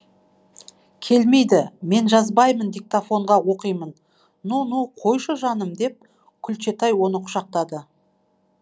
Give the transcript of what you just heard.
келмейді мен жазбаймын диктофонға оқимын ну ну қойшы жаным деп күлчетай оны құшақтады